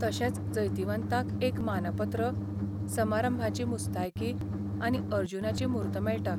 तशेंच जैतिवंतांक एकमानपत्र, समारंभाची मुस्तायकीआनी अर्जुनाची मूर्त मेळटा.